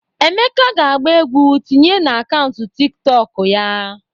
Emeka ga-agba egwu tinye n'akaụntụ Tiktọkụ ya.